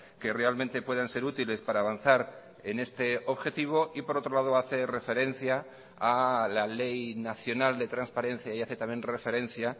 que realmente puedan ser útiles para avanzar en este objetivo y por otro lado hace referencia a la ley nacional de transparencia y hace también referencia